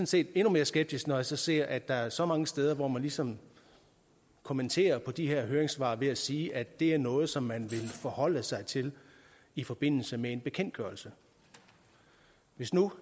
set endnu mere skeptisk når jeg så ser at der er så mange steder hvor man ligesom kommenterer de her høringssvar ved at sige at det er noget som man vil forholde sig til i forbindelse med en bekendtgørelse hvis nu